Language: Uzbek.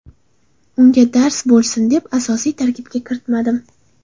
Unga dars bo‘lsin deb, asosiy tarkibga kiritmadim.